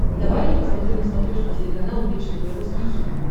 давай я посмотрю на смотрешке телеканал бридж тв русский хит